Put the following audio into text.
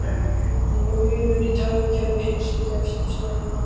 Bilun í tölvukerfi heilsugæslustöðva